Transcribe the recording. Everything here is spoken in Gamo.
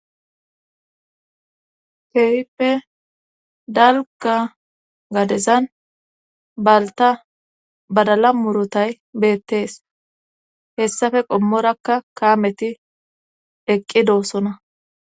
Keehippe dalga gadezan balta badala murotay beettees hessafe qommorakka kaameti eqqi doossona